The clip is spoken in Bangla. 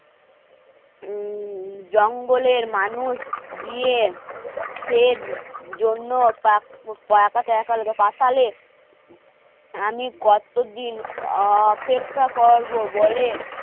উম জঙ্গলের মানুষ গিয়ে জন্য আমি কতো দিন